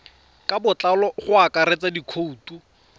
ka botlalo go akaretsa dikhoutu